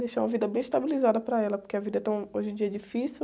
Deixar uma vida bem estabilizada para ela, porque a vida é tão, hoje em dia, é difícil.